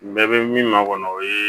N bɛɛ bɛ min ma kɔnɔ o ye